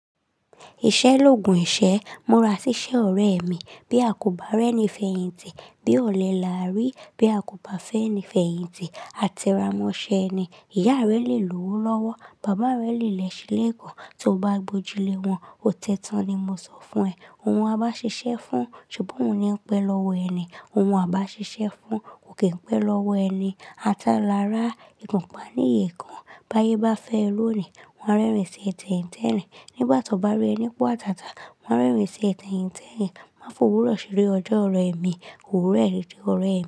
Ìṣẹ́ l'ògùn ìṣẹ́. Múra síṣẹ́ ọ̀rẹ́ mi. Bí a kò bá rẹ́ni fèyìntì, bí ọ̀lẹ là á rí. Bí a kò bá fẹ́ni fèyìntì, a tíra mọ́ṣẹ́ ni. Ìyá rẹ lè lówó lọ́wọ́, bàbá rẹ lè lẹ̀ṣẹ́ l'éèkàn, tí o bá gbojú lẹ wọ́n. Ó tẹ tan ni mo sọ fún ẹ. Òun a bá ṣiṣẹ́ fún, ṣùgbọ́n òun ni ń pẹ́ lọ́wọ́ ẹni. Òun a bá ṣiṣẹ́ fún, ò kè ń pẹ́ lọ́wọ́ ẹni. A tà lára ìgùnpa ní èèkàn. Báyé bá fẹ́ ẹ lónìí, wọ́n á rẹ́rìn-ín sí ẹ tẹ̀yìn tẹ̀rìn. Nígbà tó bá rí ẹ ní pọ́ àtàtà, wọ́n á rẹ́rìn-ín sí ẹ tẹ̀yìn tẹ̀yìn. Má fò wúrọ̀ ṣeré ọjọ́ ọ̀rẹ́ mi. Òwúrọ̀ ẹ lè di ọ̀rẹ́ mi.